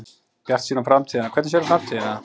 Bjartsýn á framtíðina Hvernig sérðu framtíðina?